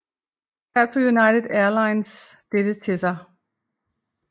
Her tog United Airlines dette til sig